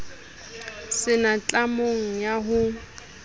se na tlamo ya ho